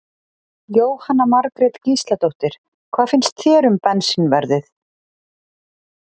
Jóhanna Margrét Gísladóttir: Hvað finnst þér um bensínverðið?